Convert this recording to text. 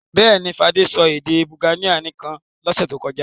Bẹ́ẹ̀ ni, Fadé sọ èdè Bulgaria nìkan lọ́sẹ̀ tó kọjá.